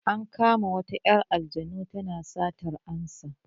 An kama wata 'yar anjinmu tana satar amsa.